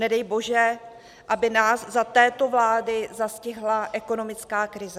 Nedej bože, aby nás za této vlády zastihla ekonomická krize.